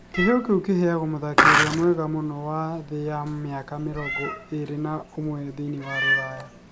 Kĩheo kĩu kĩheanagwo mũthaki ũrĩa mwega mũno wa thĩ ya mĩaka mĩrongo ĩrĩ na umwe thĩiniĩ wa Rũraya.